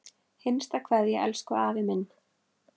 HINSTA KVEÐJA Elsku afi minn.